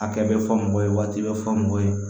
A kɛ bɛ fɔ mɔgɔ ye wa waati bɛ fɔ mɔgɔ ye